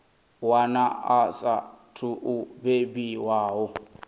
wana a saathu u bebiwaho